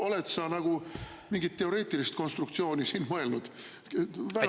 Oled sa mingit teoreetilist konstruktsiooni siin mõelnud?